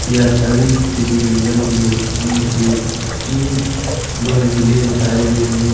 यह छवि भी किसी जंगल की है जिसमें की इक दो झीलें दिखाई दे रही हैं।